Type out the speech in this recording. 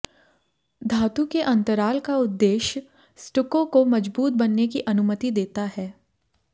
धातु के अंतराल का उद्देश्य स्टुको को मजबूत बनने की अनुमति देता है